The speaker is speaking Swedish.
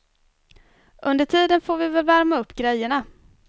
Under tiden får vi väl värma upp grejerna.